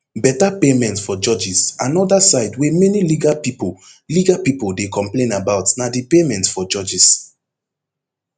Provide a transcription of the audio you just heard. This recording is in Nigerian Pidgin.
better payment for judges anoda side wey many legal pipo legal pipo dey complain about na di payment for judges